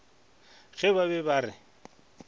ge ba be ba re